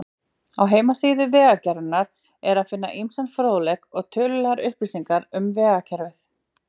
Á heimasíðu Vegagerðarinnar er að finna ýmsan fróðleik og tölulegar upplýsingar um vegakerfið.